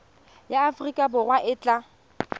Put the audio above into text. ya aforika borwa e tla